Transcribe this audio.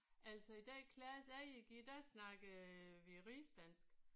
Altså i den klasse jeg gik i der snakkede vi rigsdansk